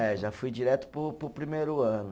É, já fui direto para o, para o primeiro ano.